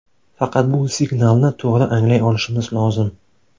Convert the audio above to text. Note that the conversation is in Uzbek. Faqat bu signalni to‘g‘ri anglay olishimiz lozim.